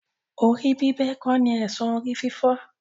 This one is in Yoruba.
Orí bíbẹ kò ní èsan orí-fífọ́.